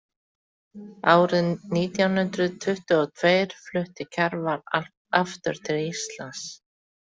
Árið nítján hundrað tuttugu og tveir flutti Kjarval aftur til Íslands.